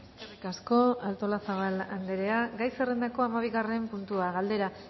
eskerrik asko eskerrik asko artolazabal andrea gai zerrendako hamabigarren puntua galdera